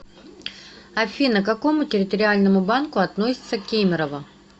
афина к какому территориальному банку относится кемерово